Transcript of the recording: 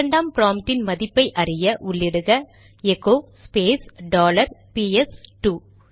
இரண்டாம் ப்ராம்ப்டின் மதிப்பைஅறிய உள்ளிடுக எகோ ஸ்பேஸ் டாலர் பிஎஸ் இரண்டு